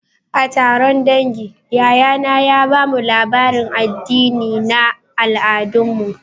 A taron dangi, yayana ya ba mu labarin addini na al'adunmu